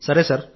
సరే సార్